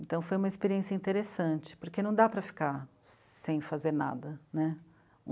Então foi uma experiência interessante, porque não dá para ficar sem fazer nada, né?